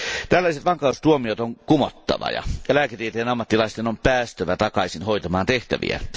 Tällaiset vankeustuomiot on kumottava ja lääketieteen ammattilaisten on päästävä takaisin hoitamaan tehtäviänsä.